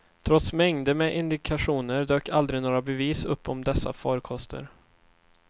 Trots mängder med indikationer dök aldrig några bevis upp om dessa farkoster.